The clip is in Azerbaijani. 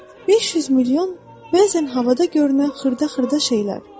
500 milyon bəzən havada görünən xırda-xırda şeylər.